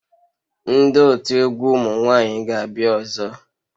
Ndị otu egwu ụmụ nwanyị ga-abịa ọzọ?